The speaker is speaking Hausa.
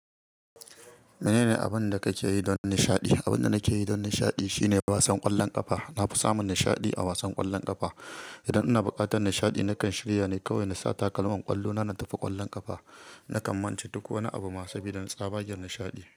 Mene ne abin da kake yi don nishaɗi? Abin da nake yi don nishaɗi shine wasan ƙwallon ƙafa. Na fi samun nishaɗi a wasan ƙwallon ƙafa. Idan ina buƙatar nishaɗi, nakan shirya ne kawai na sa takalman ƙwallo na, na tafi ƙwallon ƙafa. Nakan mance duk wani abu saboda na tsaba cikin nishaɗi.